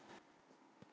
Það getur ekki beðið.